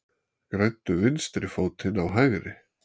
Græddu vinstri fótinn á hægri